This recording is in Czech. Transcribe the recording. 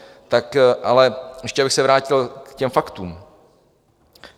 Tak ale ještě abych se vrátil k těm faktům.